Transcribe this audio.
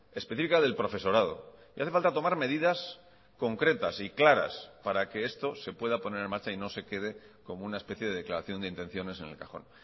específica del profesorado y hace falta tomar medidas concretas y claras para que esto se pueda poner en marcha y no se quede como una especie de declaración de intenciones en el cajón